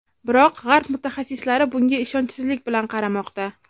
Biroq g‘arb mutaxassislari bunga ishonchsizlik bilan qaramoqda.